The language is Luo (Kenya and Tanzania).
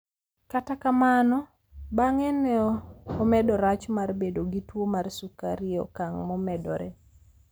kata kamano, bang'e no, omedo rach mar bedo gi tuwo mar sukari e okang' momedore